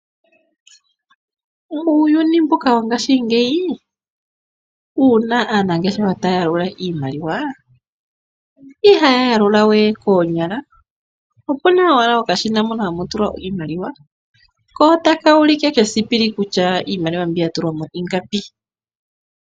Uuyuni mbuka wongaashingeyi wuna aanangeshefa taya yalula iimaliwa, ihaya yalula we koonyala ashike opena okashina moka hamu tulwa iimaliwa ko taka ulike kesipili kutya iimaliwa mbi yatulwa mo ingapi.